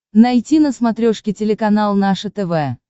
найти на смотрешке телеканал наше тв